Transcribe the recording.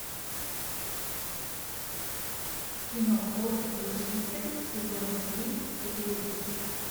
кино кот крушитель сезон три серия десять